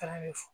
Taara ɲɛfɔ